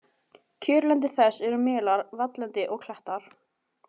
Kjörlendi þess eru melar, valllendi og klettar.